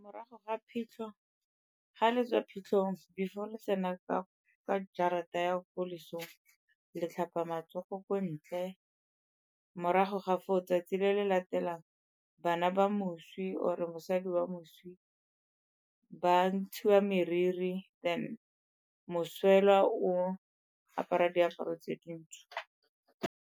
Morago ga phitlho, ga le tswa phitlhong, before le tsena ka jarateng ya ko lesong le tlhapa matsogo ko ntle. Morago ga foo, o 'tsatsi le le latelang bana ba moswi or-e mosadi wa moswi ba ntshiwa moriri then moswelwa o apara diaparo tse dintsho.